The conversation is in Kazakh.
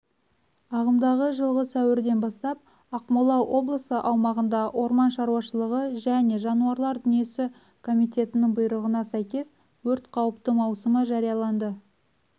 ағымдағы жылғы сәуірден бастап ақмола облысы аумағында орман шаруашылығы және жануарлар дүниесі комитетінің бұйрығына сәйкес өрт қауіпті маусымы жарияланды